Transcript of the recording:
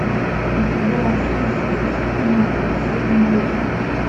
у тебя в списке есть кино карусельный лев